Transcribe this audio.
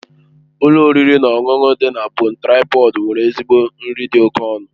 Ụlọ oriri na ọṅụṅụ dị na Bon Traịpọd nwere ezigbo nri dị oke ọnụ.